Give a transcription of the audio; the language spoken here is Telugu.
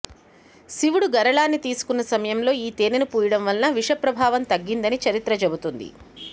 శివుడు గరళాన్ని తీసుకున్న సమయంలో ఈ తేనెను పూయడం వలన విషప్రభావం తగ్గిందని చరిత్ర చెపుతుంది